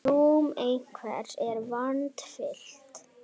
Rúm einhvers er vandfyllt